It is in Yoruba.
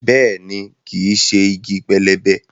Bẹ́ẹ̀ni, kìí ṣe igi pẹlẹbẹ